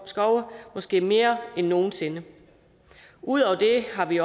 skove måske mere end nogen sinde ud over det har vi